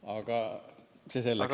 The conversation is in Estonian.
Aga see selleks.